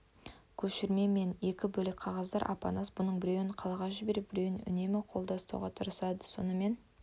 көшірме мен екі бөлек қағаздар апанас бұның біреуін қалаға жіберіп біреуін үнемі қолда ұстауға тапсырды сонымен